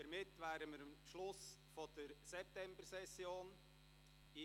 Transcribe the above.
Damit wären wir auch am Schluss der Septembersession angelangt.